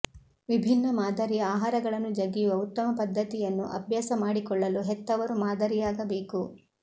ವಿಭಿನ್ನ ಮಾದರಿಯ ಆಹಾರಗಳನ್ನು ಜಗಿಯುವ ಉತ್ತಮ ಪದ್ಧತಿಯನ್ನು ಅಭ್ಯಾಸ ಮಾಡಿಕೊಳ್ಳಲು ಹೆತ್ತವರು ಮಾದರಿಯಾಗಬೇಕು